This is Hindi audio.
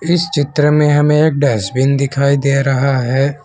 इस चित्र में हमें एक डस्टबिन दिखाई दे रहा है।